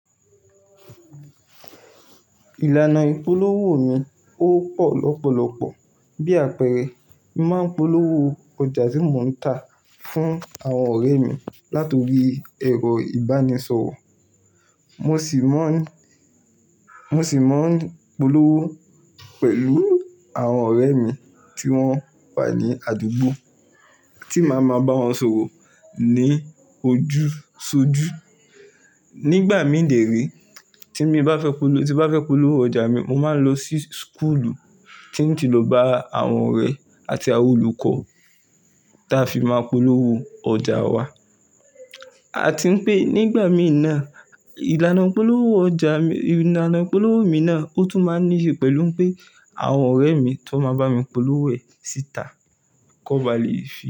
Ìlànà ìpolówó mi ò pọ̀ lọ́pọ̀lọpọ̀. Bí àpẹẹrẹ, mo máa ń polówó ọjà tí mo ń tà fún àwọn ọ̀rẹ́ mi nítorí ẹ̀rọ ìbánisọ̀wọ̀. Mo sì máa ń, mo sì máa ń polówó pẹ̀lú àwọn ọ̀rẹ́ mi tí wọ́n wà ní àdúgbò tí màá máa bá wọn sọ̀rọ̀ ní ojúṣojú. Nígbà mí dèré tí mo bá fẹ́ polówó, tí mo bá fẹ́ polówó ọjà mi, mo máa ń lọ sí skulu tí mo ti lò bá àwọn ọ̀rẹ́ àti àwọn olùkọ́ táa fi máa polówó ọjà wa. A ti ń pé nígbà mí náà ìlànà polówó ọjà mi, ìlànà polówó mi náà ó tún máa níye pẹ̀lú pé àwọn ọ̀rẹ́ mi tó máa bá mi polówó ẹ̀ síta kó ba à le.